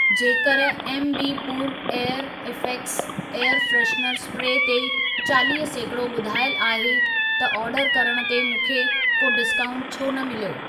जेकर एमबीपुर air effects air freshener spray ते चालीह सैकड़ो ॿुधायल आहे, त ओर्डर करण ते मूंखे को डिस्काऊंट छो न मिलियो?